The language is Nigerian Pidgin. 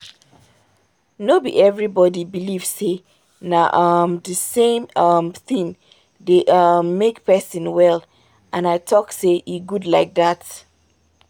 no be everybody believe say na um the same um thing dey um make person well and i talk say e good like that.